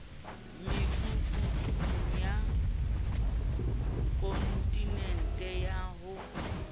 mekutung ya kontinente ya ho